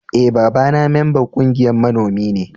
E,baba na memban ƙungiyan manomi ne.